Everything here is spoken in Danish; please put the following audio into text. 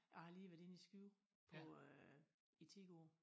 Jeg har lige været inde i Skive på øh i ti år